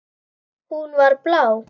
Hún var blá.